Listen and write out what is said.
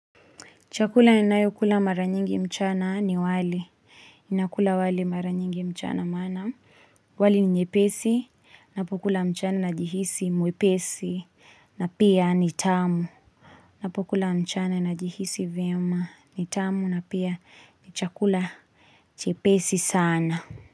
Chakula ninayokula mara nyingi mchana ni wali. Nakula wali mara nyingi mchana maana wali ni nyepesi, napokula mchana najihisi mwepesi na pia ni tamu. Napokula mchana najihisi vyema, ni tamu na pia ni chakula chepesi sana.